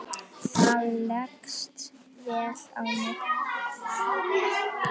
Það leggst vel í mig.